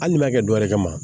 Hali n'i y'a kɛ wɛrɛ kama